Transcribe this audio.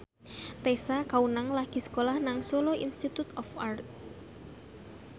Tessa Kaunang lagi sekolah nang Solo Institute of Art